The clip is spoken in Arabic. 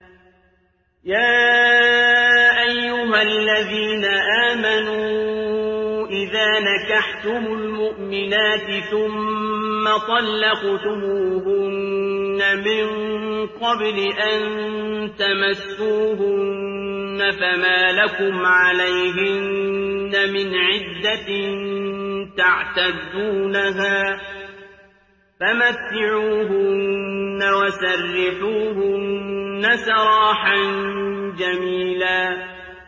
يَا أَيُّهَا الَّذِينَ آمَنُوا إِذَا نَكَحْتُمُ الْمُؤْمِنَاتِ ثُمَّ طَلَّقْتُمُوهُنَّ مِن قَبْلِ أَن تَمَسُّوهُنَّ فَمَا لَكُمْ عَلَيْهِنَّ مِنْ عِدَّةٍ تَعْتَدُّونَهَا ۖ فَمَتِّعُوهُنَّ وَسَرِّحُوهُنَّ سَرَاحًا جَمِيلًا